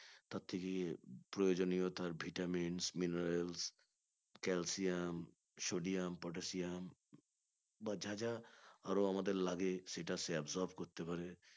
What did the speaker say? তার থেকে প্রয়োজনীয়তা vitamins minerals calcium sodium potassium বা যা যা আরও আমাদের লাগে সেটা সে absorb করতে পারে